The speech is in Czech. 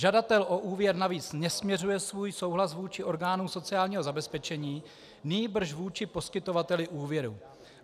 Žadatel o úvěr navíc nesměřuje svůj souhlas vůči orgánům sociálního zabezpečení, nýbrž vůči poskytovateli úvěru.